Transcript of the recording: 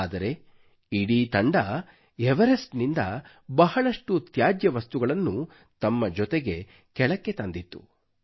ಆದರೆ ಪೂರಾ ತಂಡವು ಎವರೆಸ್ಟ್ ನಿಂದ ಬಹಳಷ್ಟು ತ್ಯಾಜ್ಯ ವಸ್ತುಗಳನ್ನು ತಮ್ಮ ಜೊತೆಗೆ ಕೆಳಗೆ ತಂದಿತ್ತು